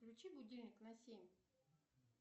включи будильник на семь